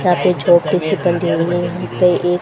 यहां पे छोटी से बंधे हुए यहां पे एक--